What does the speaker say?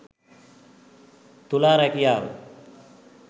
තුලා රැකියාව